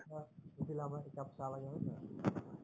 আমাক উঠিলে আমাক একাপ চাহ লাগে হয় নে নহয়